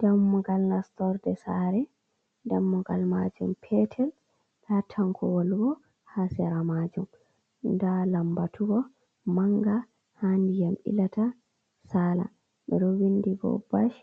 Damugal nastorde sare, dammugal majum petel ndaa tankowol bo ha sera majum, nda lambatu bo manga ha ndiyam ilata sala ɓeɗo vindi bo bash